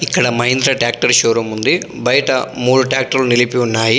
ఇక్కడ Mahindra tractor showroom ఉంది. బయట మూడు టాక్టర్లు నిలిపి ఉన్నాయి.